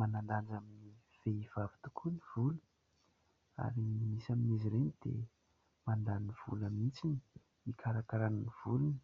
Manan-danja amin'ny vehivavy tokoa ny volo ary misy amin'izy ireny dia mandany vola mihitsy hikarakarana ny volony,